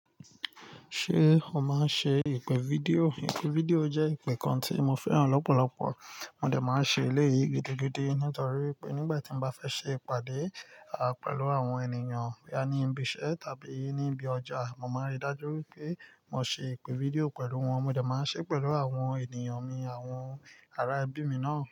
Ṣé o máa ń ṣe ìpè fídíò? Ìpè fídíò jẹ́ ìpè kan tí mo fẹ́ràn lọ́pọ̀lọpọ̀. Mo dẹ̀ máa ń ṣe eléyìí gidigidi nítorí pé nígbà tí mo bá fẹ́ ṣe ìpàdé, à, pẹ̀lú àwọn ènìyàn bí a ní ibi iṣẹ́ tàbí ní ibi ọjà, mo máa ń rí dájú pé mo ṣe ìpè fídíò pẹ̀lú wọn. Mo dẹ̀ máa ń ṣe pẹ̀lú àwọn ènìyàn mi àwọn ará ẹbí mi náà.